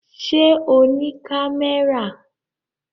Ṣé o ní kámẹ́rà?